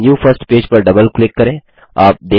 अबnew first page पर double click करें